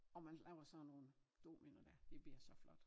Og man laver sådan nogen domino dér det bliver så flot